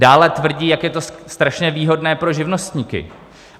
Dále tvrdí, jak je to strašně výhodné pro živnostníky.